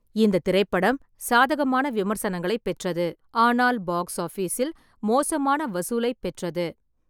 இந்த திரைப்படம் சாதகமான விமர்சனங்களைப் பெற்றது, ஆனால் பாக்ஸ் ஆபிஸில் மோசமான வசூலை பெற்றது.